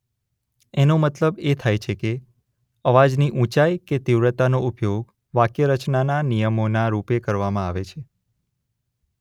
એનો મતલબ એ થાય છે કે અવાજની ઊંચાઇ કે તીવ્રતાનો ઉપયોગ વાક્યરચનાના નિયમોનાં રૂપે કરવામાં આવે છે.